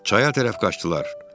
Çaya tərəf qaçdılar.